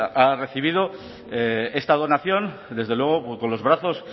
ha recibido esta donación desde luego con los brazos